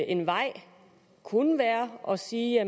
en vej kunne være at sige at